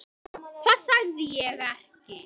Hvað sagði ég ekki?